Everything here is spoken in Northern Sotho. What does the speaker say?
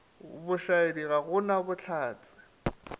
bošaedi ga go na bohlatse